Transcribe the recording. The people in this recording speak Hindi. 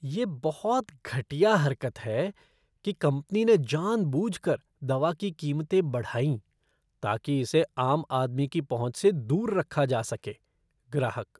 यह बहुत घटिया हरकत है कि कंपनी ने जानबूझकर दवा की कीमतें बढ़ाईं, ताकि इसे आम आदमी की पहुँच से दूर रखा जा सके। ग्राहक